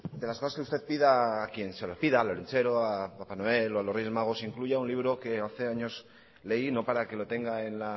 las cosas que usted pida a quien se las pida al olentzero papa noel o a los reyes magos incluya un libro que hace años leí no para que lo tenga en